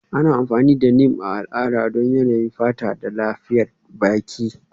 Ana amfani da Neem a al'ada don yanayin fata da lafiyar baki.